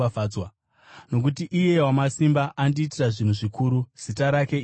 nokuti Iye Wamasimba andiitira zvinhu zvikuru, zita rake idzvene.